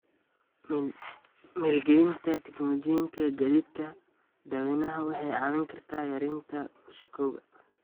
Maalgelinta tignoolajiyada gaadiidka dadweynaha waxay caawin kartaa yareynta wasakhowga.